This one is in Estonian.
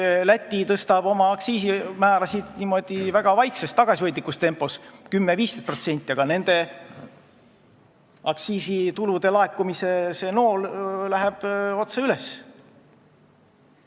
Läti tõstab oma aktsiisimäärasid väga vaikses, tagasihoidlikus tempos, 10–15%, aga nende aktsiisitulude laekumise nool läheb otse üles.